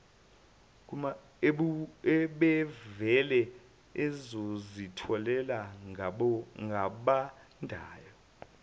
ubevele azithele ngabandayo